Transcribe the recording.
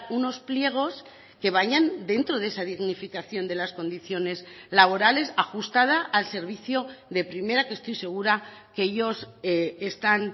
unos pliegos que vayan dentro de esa dignificación de las condiciones laborales ajustada al servicio de primera que estoy segura que ellos están